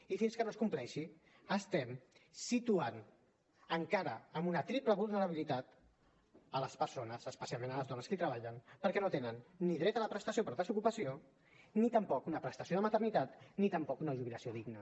i fins que no es compleixi estem situant encara en una triple vulnerabilitat les persones especialment les dones que hi treballen perquè no tenen ni dret a la prestació per desocupació ni tampoc una prestació de maternitat ni tampoc una jubilació digna